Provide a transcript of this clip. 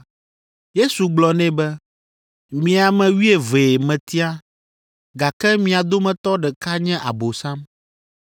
Yesu gblɔ nɛ be, “Mi ame wuievee metia, gake mia dometɔ ɖeka nye Abosam!”